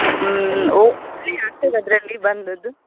ಹ್ಮ್‌ ಒ ಆಗ್ತದ ಅದ್ರಲ್ಲಿ ಬಂದದ್ದು?